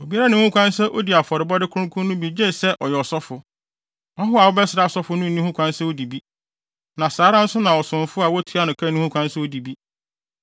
“Obiara nni ho kwan sɛ odi afɔrebɔde kronkron no bi gye sɛ ɔyɛ ɔsɔfo. Ɔhɔho a wabɛsra ɔsɔfo no nni ho kwan sɛ odi bi. Na saa ara nso na ɔsomfo a wotua no ka nni ho kwan sɛ odi bi.